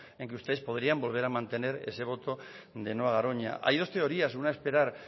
en que ustedes podrían volver a mantener ese voto de no a garoña hay dos teorías una esperar